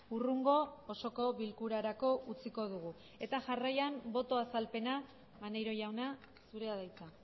hurrengo osoko bilkurarako utziko dugu eta jarraian boto azalpena maneiro jauna zurea da hitza